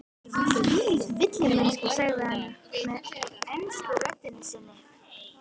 Þvílík villimennska, sagði hann með ensku röddinni sinni.